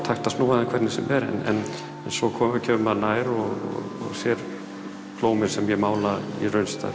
hægt að snúa þeim hvernig sem er en svo kemur maður nær og sér blómin sem ég mála í raunstærð